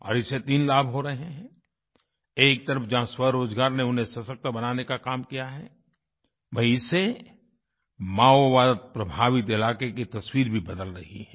और इससे तीन लाभ हो रहे हैं एक तरफ जहाँ स्वरोजगार ने उन्हें सशक्त बनाने का काम किया है वहीँ इससे माओवादप्रभावित इलाक़े की तस्वीर भी बदल रही है